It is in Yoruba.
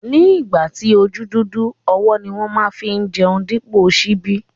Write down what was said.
Ni ìgbà tí ojú dúdú, ọwọ́ ni wón má fi ń jẹun dípò ṣíbí